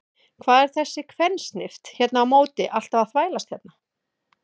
Hvað er þessi kvensnift hérna á móti alltaf að þvælast hérna?